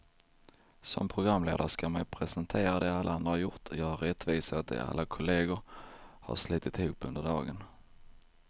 Som programledare ska man ju presentera det alla andra har gjort, göra rättvisa åt det alla kollegor har slitit ihop under dagen.